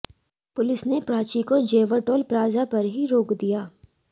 police ने प्राची को Jewar toll plaza पर ही रोक दिया